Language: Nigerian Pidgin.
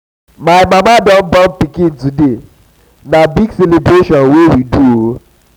my mama don born pikin today na big celebration we dey do o.